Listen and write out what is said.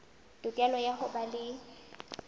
tokelo ya ho ba le